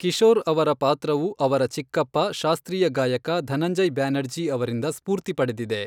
ಕಿಶೋರ್ ಅವರ ಪಾತ್ರವು ಅವರ ಚಿಕ್ಕಪ್ಪ, ಶಾಸ್ತ್ರೀಯ ಗಾಯಕ, ಧನಂಜಯ್ ಬ್ಯಾನರ್ಜಿ ಅವರಿಂದ ಸ್ಫೂರ್ತಿ ಪಡೆದಿದೆ.